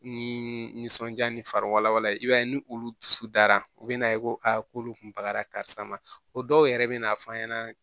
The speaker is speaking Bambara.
Ni nisɔndiya ni fariwala i b'a ye ni olu dusu dara u be na ye ko a k'olu kun bagara karisa ma o dɔw yɛrɛ bɛ na f'an ɲɛna